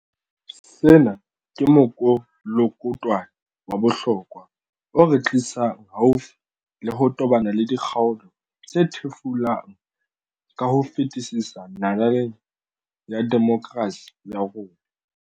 Sena ke mokolokotwane wa bohlokwa o re tlisang haufi le ho tobana le dikgaolo tse thefulang ka ho fetisisa nalaneng ya demokerasi ya rona.